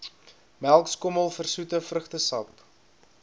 melkskommel versoete vrugtesap